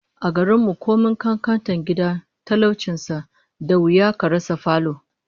A garin mu, komai kankantar gida ko talaucin sa, da wuya a rasa falo